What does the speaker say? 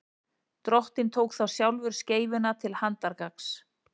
drottinn tók þá sjálfur skeifuna til handargagns